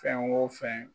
Fɛn o fɛn